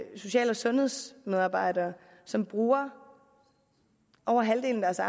social og sundhedsmedarbejdere som bruger over halvdelen af